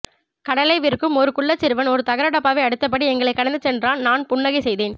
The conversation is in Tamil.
கடலை விற்கும் ஒரு குள்ளச்சிறுவன் ஒரு தகர டப்பாவை அடித்தபடி எங்களைக் கடந்து சென்றான் நான் புன்னகை செய்தேன்